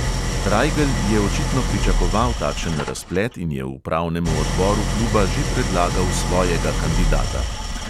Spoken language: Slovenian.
Rajgelj je očitno pričakoval takšen razplet in je upravnemu odboru kluba že predlagal svojega kandidata.